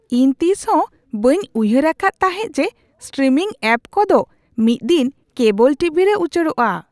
ᱤᱧ ᱛᱤᱥᱦᱚᱸ ᱵᱟᱹᱧ ᱩᱭᱦᱟᱹᱨ ᱟᱠᱟᱫ ᱛᱟᱦᱮᱸ ᱡᱮ ᱥᱴᱨᱤᱢᱤᱝ ᱮᱹᱯ ᱠᱚᱫᱚ ᱢᱤᱫᱽᱫᱤᱱ ᱠᱮᱵᱚᱞ ᱴᱤᱵᱷᱤᱨᱮ ᱩᱪᱟᱲᱚᱜᱼᱟ ᱾